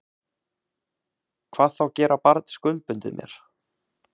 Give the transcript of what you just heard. Hvað þá gera barn skuldbundið mér.